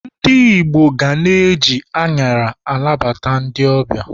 Ndi Igbo ga na-eji añara anabata ndi ọbịa.